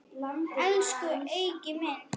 Elsku Eiki minn.